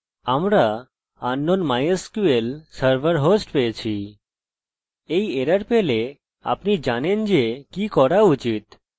এই হোস্ট যা আমি বলেছি এবং আপনি দেখতে পারেন যে এটি কোন রেখায় আছে এবং সব সাধারণ ডিবাগিং কোড